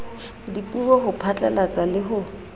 dipuo ho phatlalatsa le ho